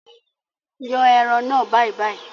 Yàn ẹran náà bàìbàì!